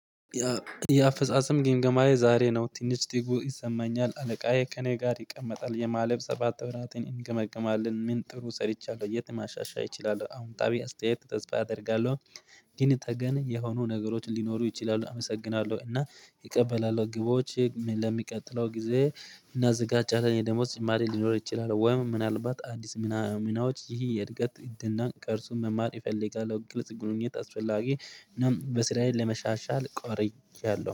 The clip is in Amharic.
የአፈጻጸም ግምገማዬ ዛሬ ነው ትንሽ ትጉ ይሰማኛል አለቃዬ ከእኔ ጋር ይቀመጣል ያለፋ ሰባት ወራትን እንገመግማለን ምን ጥሩ ሰርቻለሁ የት ማሻሻያ እችላል አሁን ጣቢያ አስተያየት ተስፋ አደርጋለሁ። ግን ተገን የሆኑ ነገሮችን ሊኖሩ ይችላሉ። አመሰግናለሁ እና እቀበላለሁ ግቦቼ ለሚቀጥለው ጊዜ እናዘጋጃለን የደሞዝ ጭማሬ ሊኖር ይችላል ወይም ምናልባት አዲስ ናሙናዎች ይህ የእድገት እድል ነው። ቅርጹን መማር ይፈልጋል ግልጽ ግንኙነት አስፈላጊ ነው። በስራዬ ለመሻሻል ቆርጫለሁ